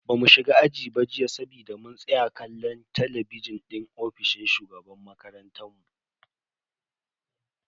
Bamu shiga aji ba jiya saboda mun tsaya kallo a talabijin din ofishin shugaban makarantan mu.